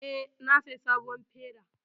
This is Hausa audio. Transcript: Eh, na saya sabon feda